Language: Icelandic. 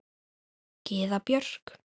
Gyða Björk.